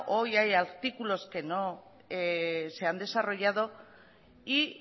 hoy hay artículos que no se han desarrollado y